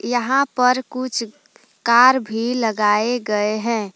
यहां पर कुछ कार भी लगाए गए हैं।